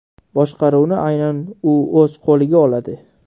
Boshqaruvni aynan u o‘z qo‘liga oladi.